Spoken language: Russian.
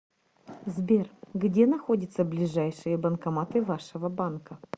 сбер где находятся ближайшие банкоматы вашего банка